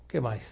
O que mais?